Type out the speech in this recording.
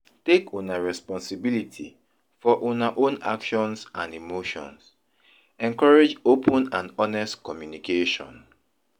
Take una responsibility for una own actions and emotions; encourage open and honest communication.